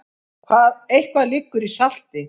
Eitthvað liggur í salti